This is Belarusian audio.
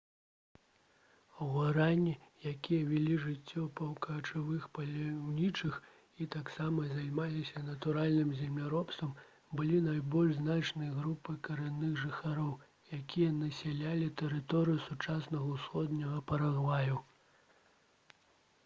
гуарані якія вялі жыццё паўкачавых паляўнічых і таксама займаліся натуральным земляробствам былі найбольш значнай групай карэнных жыхароў якія насялялі тэрыторыю сучаснага усходняга парагваю